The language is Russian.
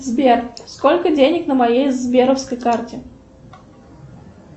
сбер сколько денег на моей сберовской карте